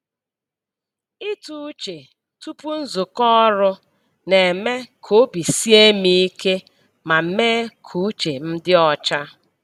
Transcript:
Ịtụ uche tupu nzukọ ọrụ na-eme ka obi sie m ike ma mee ka uche m dị ọcha.